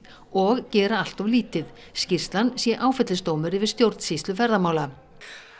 og gera allt of lítið skýrslan sé áfellisdómur yfir stjórnsýslu ferðamála